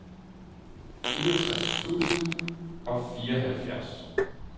fireogtres tusind og fireoghalvfjerds